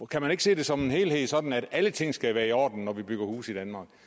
kan man ikke se det som en helhed sådan at alle ting skal være i orden når vi bygger huse